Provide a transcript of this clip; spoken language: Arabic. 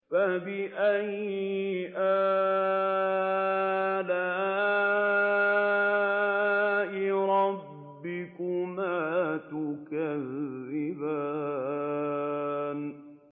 فَبِأَيِّ آلَاءِ رَبِّكُمَا تُكَذِّبَانِ